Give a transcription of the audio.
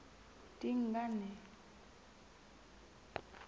dingane